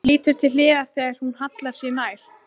Lítur til hliðar þegar hún hallar sér nær.